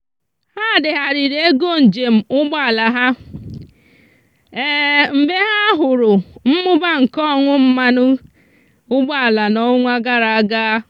ha degharịrị ego njem ụgbọala ha mgbe ha hụrụ mmụba nke ọnụ mmanụ ụgbọala n'ọnwa gara aga.